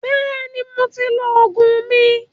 Bẹ́ẹ̀ni, mo ti lọ Ògùn mi